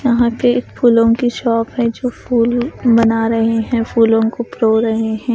यहां पे एक फूलों की शॉप है जो फूल बना रहे हैं फूलों को प्रो रहे हैं ।